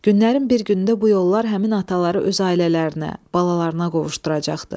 Günlərin bir günündə bu yollar həmin ataları öz ailələrinə, balalarına qovuşduracaqdı.